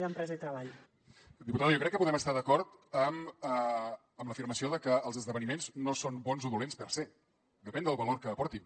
diputada jo crec que podem estar d’acord amb l’afirmació de que els esdeveniments no són bons o dolents per se depèn del valor que aportin